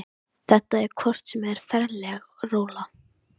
Þetta er hvort sem er ferleg rola.